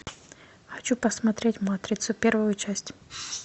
хочу посмотреть матрицу первую часть